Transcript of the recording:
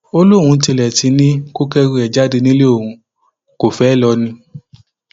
ó lóun tilẹ ti ní kó kẹrù ẹ jáde nílé òun kó fẹẹ lọ ni